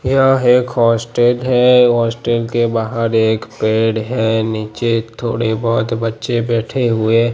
यह एक हॉस्टेल है हॉस्टेल के बाहर एक पेड़ है नीचे थोड़े बहोत बच्चे बैठे हुए--